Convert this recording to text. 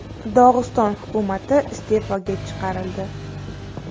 Dog‘iston hukumati iste’foga chiqarildi.